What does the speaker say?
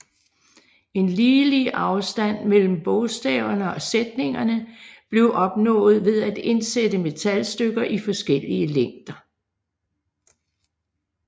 En ligelig afstand mellem bogstaverne og sætningerne blev opnået ved at indsætte metalstykker i forskellige længder